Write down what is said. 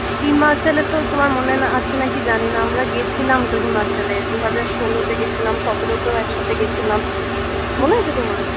uttarakhand এ তো তোমার মনে না আছে কি জানি না আমরা গিয়েছিলাম তো Uttarakhand দুই হাজার ষোলো তে গেছিলাম সতেরোতেও একসাথে গেছিলাম মনে আছে তোমার?